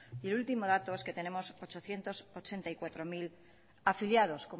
y el último dato es que tenemos ochocientos ochenta y cuatro mil afiliados